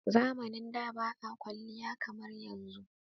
Zamanin da ba a kwaliya kamar yanzun.